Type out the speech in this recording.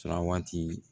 Surakati